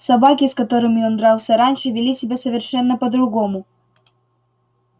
собаки с которыми он дрался раньше вели себя совершенно по другому